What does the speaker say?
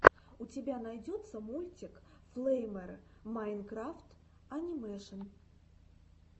у тебя найдется мультик флэймер майнкрафт анимэшен